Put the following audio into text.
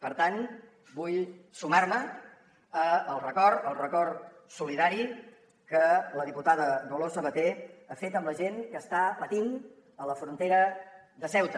per tant vull sumar me al record al record solidari que la diputada dolors sabater ha fet amb la gent que està patint a la frontera de ceuta